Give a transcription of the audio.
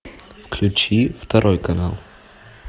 включи второй канал